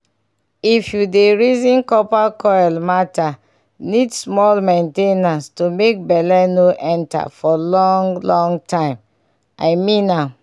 if u dey reason copper coil mattere need small main ten ance to make belle no enter for long long time.i mean am